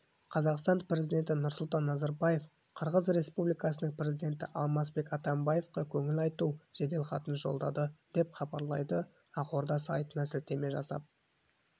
қазақстан президенті нұрсұлтан назарбаев қырғыз республикасының президенті алмазбек атамбаевқа көңіл айту жеделхатын жолдады деп хабарлайды ақорда сайтына сілтеме жасап